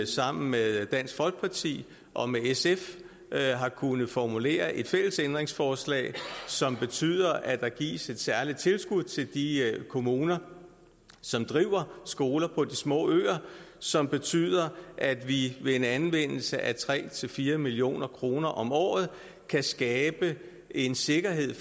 sammen med dansk folkeparti og med sf har kunnet formulere et fælles ændringsforslag som betyder at der gives et særligt tilskud til de kommuner som driver skoler på de små øer og som betyder at vi ved en anvendelse af tre fire million kroner om året kan skabe en sikkerhed